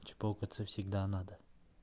чпокаться всегда надо